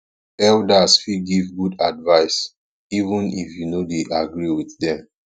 elders fit give good advice even if you no dey agree with dem